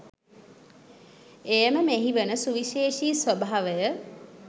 එයම මෙහි වන සුවිශේෂී ස්වභාවය,